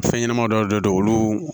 Fɛn ɲɛnɛma dɔw de be yen olu